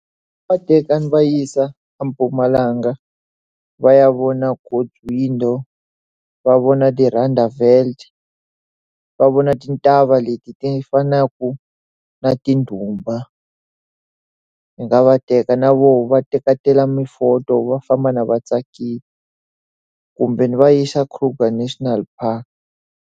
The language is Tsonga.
Ndzi nga va teka ni va yisa eMpumalanga, va ya vona God's Window, va vona ti-rondavels, va vona ti ntshava leti ti fanaka na tindhumba. Ndzi nga va teka na voho va teketela ti-photo va famba laha va tsakile. Kumbe ndzi va yisa Kruger National Park.